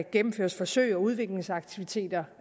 gennemføre forsøg og udviklingsaktiviteter